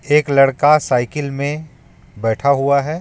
एक लड़का साइकिल में बैठा हुआ है.